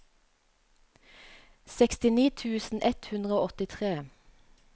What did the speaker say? sekstini tusen ett hundre og åttitre